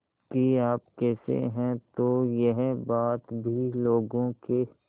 कि आप कैसे हैं तो यह बात भी लोगों के